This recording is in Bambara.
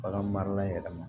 Bagan marala yɛrɛ ma